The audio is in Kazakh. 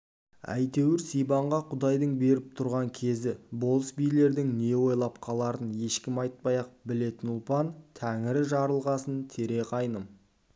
әйтеуір сибанға құдайдың беріп тұрған кезі болыс-билердің не ойлап қаларын ешкім айтпай-ақ білетін ұлпан тәңірі жарылғасын тере қайным